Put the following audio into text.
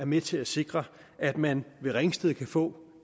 med til at sikre at man ved ringsted kan få